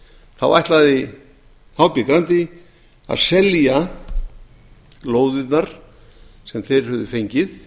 þá ætlaði hb grandi að selja lóðirnar sem þeir höfðu fengið